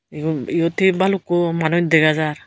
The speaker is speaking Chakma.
igun iot he balukun manus dega jar.